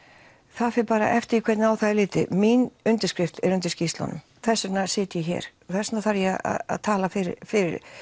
það fer bara eftir því hvernig á það er litið mín undirskrift er undir skýrslunum þess vegna sit ég hér og þess vegna þarf ég að tala fyrir fyrir